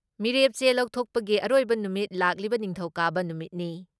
ꯃꯤꯔꯦꯞ ꯆꯦ ꯂꯧꯊꯣꯛꯄꯒꯤ ꯑꯔꯣꯏꯕ ꯅꯨꯃꯤꯠ ꯂꯥꯛꯂꯤꯕ ꯅꯤꯡꯊꯧꯀꯥꯕ ꯅꯨꯃꯤꯠꯅꯤ ꯫